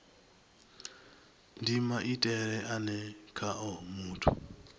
ndi maitele ane khao muthu